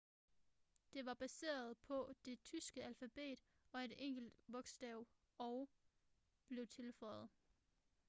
det var baseret på det tyske alfabet og et enkelt bogstav õ/õ blev tilføjet